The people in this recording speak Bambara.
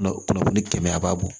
Kunnafoni kɛmɛ a b'a bɔ